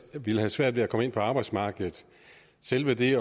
ville have svært ved at komme ind på arbejdsmarkedet selve det